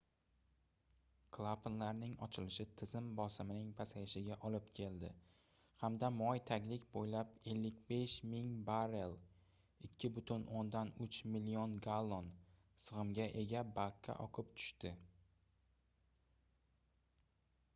klapanlarning ochilishi tizim bosimning pasayishiga olib keldi hamda moy taglik bo'ylab 55 000 barrel 2,3 million gallon sig'imga ega bakka oqib tushdi